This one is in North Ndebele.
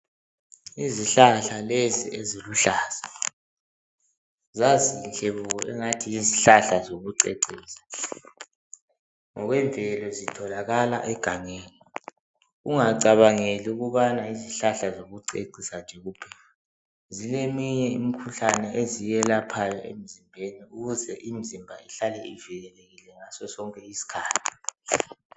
Izihlahla lezi eziluhlaza, zazinhle bo engathi yizihlahla zokucecisa. Ngokwemvelo zitholakala egangeni. Ungacabangeli ukubana izihlahla zokucecisa nje kuphela. Zileminye imikhuhlane eziyiyelaphayo emzimbeni, ukuze imzimba ihlale ivikelekile ngasosonke iskhathi.